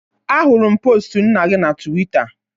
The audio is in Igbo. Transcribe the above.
Ahụrụ m postu nna gị na Tuweeta